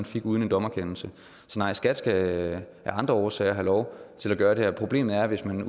fik uden en dommerkendelse så nej skat skal af andre årsager have lov til at gøre det her problemet er hvis man